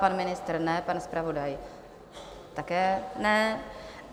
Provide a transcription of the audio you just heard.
Pan ministr ne, pan zpravodaj také ne.